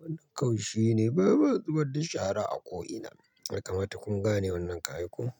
Wannan kau shi ne. Bamu zubar da shara a ko'ina. Yakamata kun gane wannan ka ai ko?